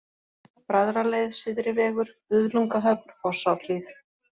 Bræðraleið, Syðri vegur, Buðlungahöfn, Fossárhlíð